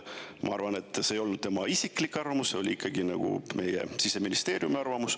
Ma arvan, et see ei olnud tema isiklik arvamus, see oli ikkagi meie Siseministeeriumi arvamus.